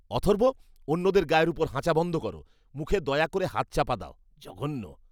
অথর্ব অন্যদের গায়ের ওপর হাঁচা বন্ধ করো। মুখে দয়া করে হাত চাপা দাও। জঘন্য!